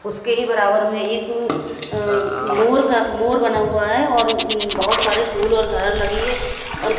उसके ही बराबर में एक अ मोर का मोर बना हुआ है और बहोत सारे फूल और घारल लगी है।